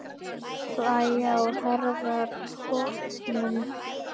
Slæ á herðar honum.